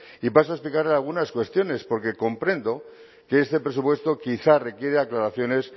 y paso a explicarle algunas cuestiones porque comprendo que este presupuesto quizá requiere aclaraciones